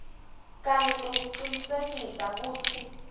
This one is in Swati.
kanye nekucinisekisa kutsi